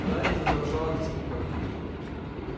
гарри задрожал от испуга